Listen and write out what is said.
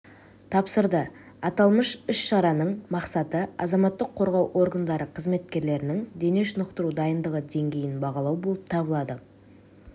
тапсырды аталмыш іс-шараның мақсаты азаматтық қорғау органдары қызметкерлерінің дене шынықтыру дайындығы деңгейін бағалау болып табылады